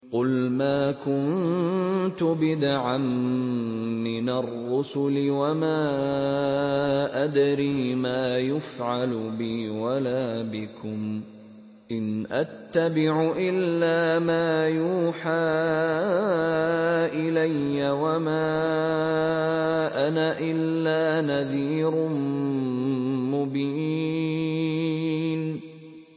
قُلْ مَا كُنتُ بِدْعًا مِّنَ الرُّسُلِ وَمَا أَدْرِي مَا يُفْعَلُ بِي وَلَا بِكُمْ ۖ إِنْ أَتَّبِعُ إِلَّا مَا يُوحَىٰ إِلَيَّ وَمَا أَنَا إِلَّا نَذِيرٌ مُّبِينٌ